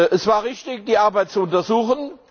Es war richtig, die Arbeit zu untersuchen.